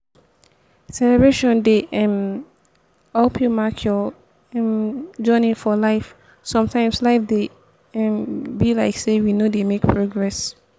celebration dey um help you mark your um journey for life sometimes life dey um be like sey we no dey make progress